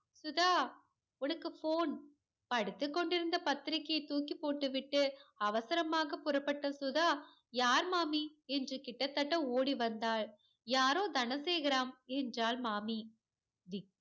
சுதா உனக்கு phone படித்து கொண்டிருந்த பத்திரிக்கையை தூக்கி போட்டுவிட்டு அவசரமாக புறப்பட்ட சுதா யார் மாமி என்று கிட்டத்தட்ட ஓடிவந்தாள் யாரோ தனசேகராம் என்றால் மாமி